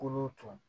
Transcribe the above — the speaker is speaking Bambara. Kolo tɔ